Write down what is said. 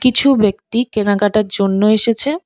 কিছু ব্যক্তি কেনাকাটার জন্য এসেছে।